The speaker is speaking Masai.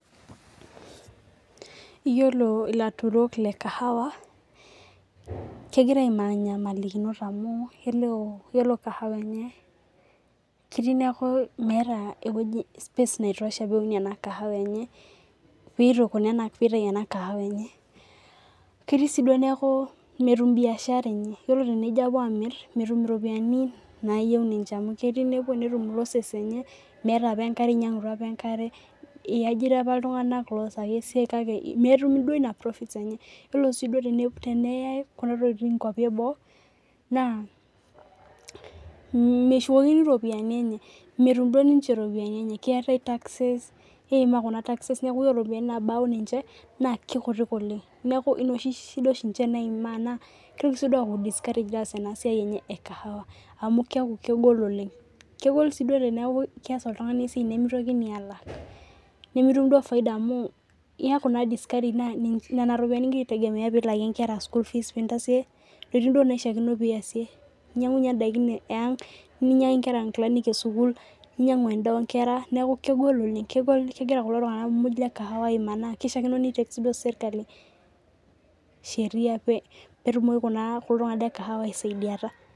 Iyolo latutok lekahawa kehira aimaa ngolikinot amu yiolo kahawa enye kelo nemeeta ntokitin naitosha peun ena kahawa enye ketii si duo neaku metum biashara enye kelo nejo alotu amur metum ropiyani nayieu ninche iajira apa ltunganak oasita inasiai kake metum profit enye yiolo wi tenyae kuna tokitin nkwapi eboo metum ninche ropiyiani enye yiolo ropiyani nabaki ninche na kekutik oleng amu keaku kegol oleng kegol si teneaku keas oltungani esiai nimotokini alak nimitum duo faida na nona ropiyani i gira aitegemea pilakie nkera school fees ninyanguyie ndakin eang ninyangaki enkera nkilani esukul neaku kegol oleng kegira kulo tunganak le kahawa aimaa petumoki kulo tunganak lekahawa iasaidiata